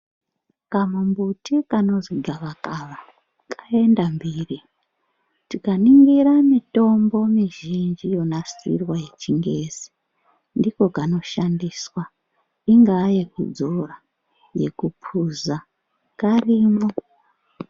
Kamumbuti kanozi gakavakava kaenda mbiri tikaningira mitombo mizhinji yonasirwe yechingezi ndiko kanoshandiswa ingaa yekudzora yekupuza karimo.